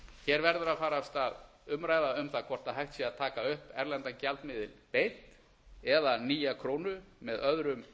hér verður af fara af stað umræða um það hvort hægt sé að taka upp erlendan gjaldmiðil beint eða nýja krónu með öðrum